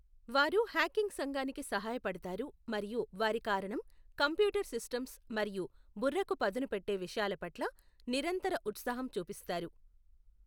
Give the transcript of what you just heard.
వారు హ్యాకింగ్ సంఘానికి సహాయపడతారు మరియు వారి కారణం కంప్యూటర్ సిస్టమ్స్ మరియు బుర్రకు పదునుపెట్టే విషయాల పట్ల నిరంతర ఉత్సాహం చూపిస్తారు.